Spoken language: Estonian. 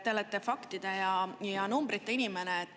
Te olete faktide ja numbrite inimene.